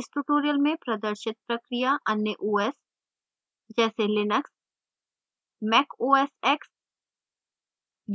इस tutorial में प्रदर्शित प्रक्रिया अन्य os जैसे linux mac os x